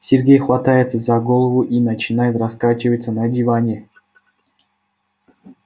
сергей хватается за голову и начинает раскачиваться на диване